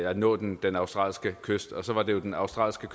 at nå den den australske kyst og så var det jo den australske